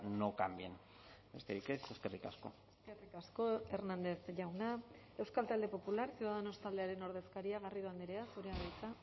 no cambien besterik ez eskerrik asko eskerrik asko hernández jauna euskal talde popular ciudadanos taldearen ordezkaria garrido andrea zurea da hitza